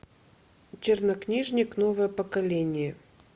чернокнижник новое поколение